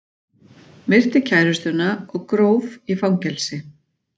Myrti kærustuna og gróf í fangelsi